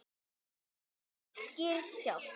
Þetta bull skýrir sig sjálft.